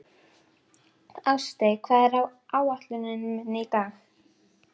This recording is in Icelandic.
Ástey, hvað er á áætluninni minni í dag?